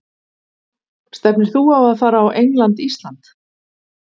Stefnir þú á að fara á England- Ísland?